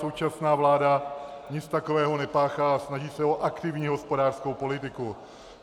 Současná vláda nic takového nepáchá a snaží se o aktivní hospodářskou politiku.